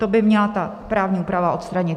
To by měla ta právní úprava odstranit.